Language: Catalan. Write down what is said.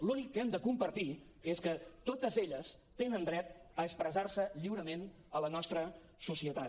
l’únic que hem de compartir és que totes elles tenen dret a expressar se lliurement a la nostra societat